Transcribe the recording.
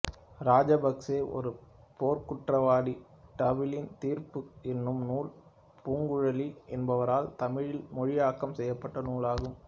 இராஜபக்சே ஒரு போர்க்குற்றவாளி டப்ளின் தீர்ப்பு என்னும் நூல் பூங்குழலி என்பவரால் தமிழில் மொழியாக்கம் செய்யப்பட்ட நூல் ஆகும்